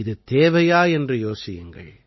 இது தேவையா என்று யோசியுங்கள்